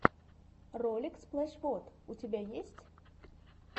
ролик сплэш вот у тебя есть